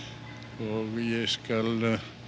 og ég skal